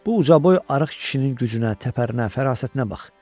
Bu ucaboy arıq kişinin gücünə, təpərinə, fərasətinə bax.